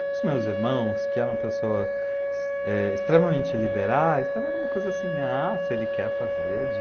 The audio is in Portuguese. Para os meus irmãos, que eram pessoas eh, extremamente liberais, estava uma coisa assim, ah, se ele quer fazer de